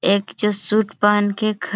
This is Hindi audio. एक सूट पहन के ख --